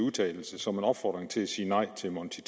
og tyve som en opfordring til at sige nej til monti